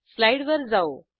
स्लाईडवर जाऊ